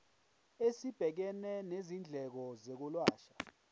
esibhekene nezindleko zokwelashwa